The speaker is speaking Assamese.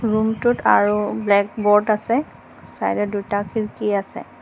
ৰুমটোত আৰু ব্লেক বোৰ্ড আছে চাইদত দুটা খিৰকী আছে।